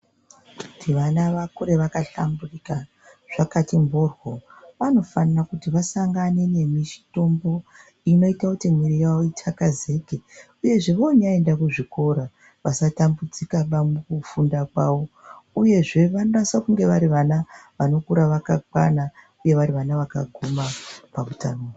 Kuti vana vakure vakahlamburika, zvakati mhoryo, vanofana kuti vasangane ne mitombo inoita kuti mwiri yavo ithakazeke. Uyezve voonyaenda kuzvikora vasatambudzikaba mukufunda kwavo. Uyezve vanonasa kunge vari vana vanokura vakakwana uye vari vana vakaguma pautano.